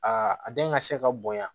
A den ka se ka bonya